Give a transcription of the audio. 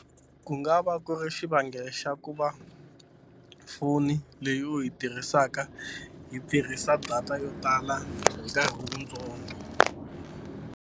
Ku nga va ku ri xivangelo xa ku va foni leyi u yi tirhisaka yi tirhisa data yo tala hi nkarhi wutsongo.